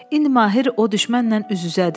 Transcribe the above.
İndi Mahir o düşmənlə üz-üzədir.